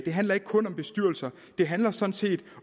handler ikke kun om bestyrelser det handler sådan set